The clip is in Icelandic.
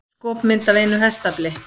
Skopmynd af einu hestafli.